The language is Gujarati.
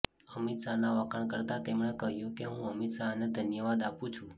અમિત શાહના વખાણ કરતા તેમણે કહ્યું કે હું અમિત શાહને ધન્યવાદ આપું છું